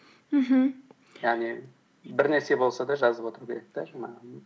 мхм яғни бір нәрсе болса да жазып отыру керек те жаңағы